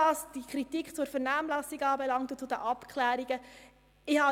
Es hat Kritik zur Vernehmlassung und den Abklärungen gegeben.